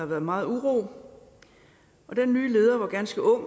været meget uro den nye leder var ganske ung